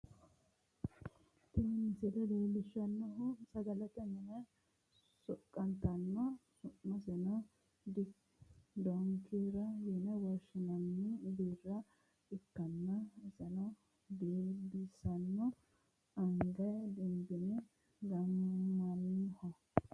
Tini misile leellishshannohu sagalete mine soqqantanno beetto anga amadde hadhanni nooha su'masino dankira yine woshshinanniha biira ikkanna, isino dinbissanno agga giddo gaamamannoho.